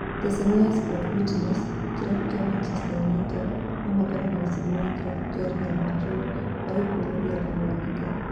Ceceni ya Sport Witness, kĩrabu kĩa Manchester united nomakorwo magĩcindana na kĩrabu kĩa Real Madrid harĩ kũrũĩrĩra Camavinga